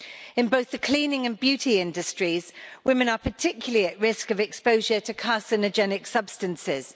In both the cleaning and beauty industries, women are particularly at risk of exposure to carcinogenic substances.